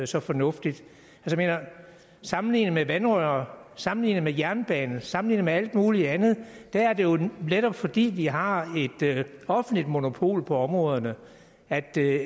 så fornuftigt sammenlignet med vandrør sammenlignet med jernbane sammenlignet med alt muligt andet er det jo netop fordi vi har et offentligt monopol på områderne at det